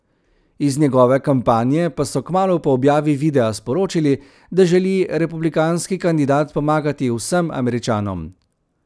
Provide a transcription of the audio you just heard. Iz njegove kampanje pa so kmalu po objavi videa sporočili, da želi republikanski kandidat pomagati vsem Američanom.